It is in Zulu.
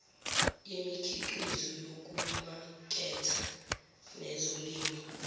yemikhiqizo yokumaketha nezolimo